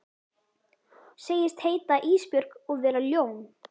Segist heita Ísbjörg og vera ljón.